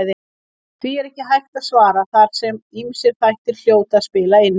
Því er ekki hægt að svara þar sem ýmsir þættir hljóta að spila inn í.